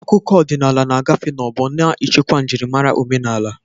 Akụkọ ọdịnala na-agafe n'ọgbọ, na-echekwa njirimara omenala.